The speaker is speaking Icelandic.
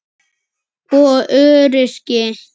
og öryrki.